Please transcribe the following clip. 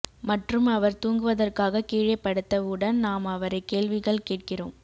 மற்றும் அவர் தூங்குவதற்காக கீழே படுத்தவுடன் நாம் அவரைக் கேள்விகள் கேட்கிறோம்